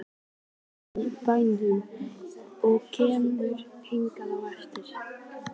Hann er í bænum og kemur hingað á eftir.